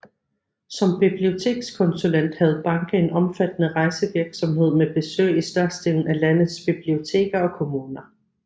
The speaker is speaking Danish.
Som bibliotekskonsulent havde Banke en omfattende rejsevirksomhed med besøg i størstedelen af landets biblioteker og kommuner